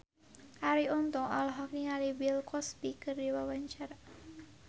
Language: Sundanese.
Arie Untung olohok ningali Bill Cosby keur diwawancara